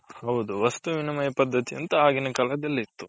ಹೌದು ವಸ್ತುವಿನ ಪದ್ದತಿ ಆಗಿನ ಕಾಲದಲ್ಲಿ ಇತು .